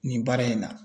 Nin baara in na